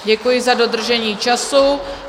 Děkuji za dodržení času.